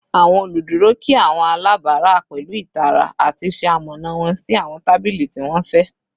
Awọn oluduro kí awọn alabara pẹlu itara ati ṣe amọna wọn si awọn tabili ti wọn fẹ